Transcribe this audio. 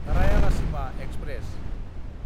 Rayalaseema express